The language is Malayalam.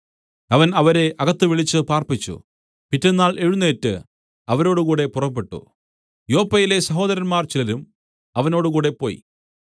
അവൻ അവരെ അകത്ത് വിളിച്ചു പാർപ്പിച്ചു പിറ്റെന്നാൾ എഴുന്നേറ്റ് അവരോടുകൂടെ പുറപ്പെട്ടു യോപ്പയിലെ സഹോദരന്മാർ ചിലരും അവനോടുകൂടെ പോയി